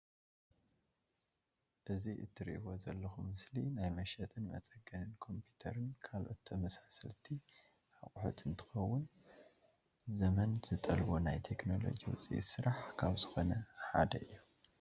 እዚ ትርእዎ ዘለኩም ምስሊ ናይ መሸጥን መፀገንን ኮምፒተርን ካልኦት ተመሳሰልቲ ኣቁሑት እንትከውን፣ ዘመን ዝጠልቦ ናይ ቴክኖሎጂ ውፅኢት ስራሕ ካብ ዝኮነ ሓደ እዩ።